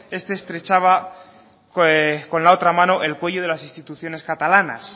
este estrechaba con la otra mano el cuello de las instituciones catalanas